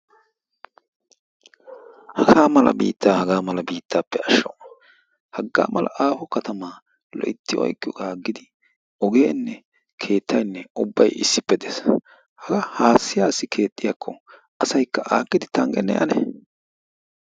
Haga biitta Haga biittappe ashsho! haga mala aaho katama loytti oyqqiyooga agidi asaynne ogenne keettaynne issippe de'ees. haga haassi haassi keexxiyaakko asaykka aakidi tanggenne ane!